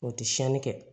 O tɛ siyɛnni kɛ